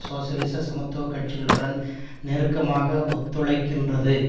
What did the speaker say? சோசியலிச சமத்துவ கட்சிகளுடன் நெருக்கமாக ஒத்துழைக்கின்றது